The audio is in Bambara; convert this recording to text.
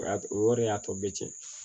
O y'a to o yɛrɛ de y'a to bɛɛ cɛn